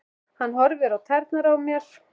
Hann horfir á tærnar á mér.